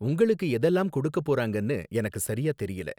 உங்களுக்கு எதெல்லாம் கொடுக்கப் போறாங்கன்னு எனக்கு சரியா தெரியல